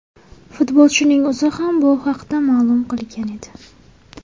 Futbolchining o‘zi ham bu haqda ma’lum qilgan edi.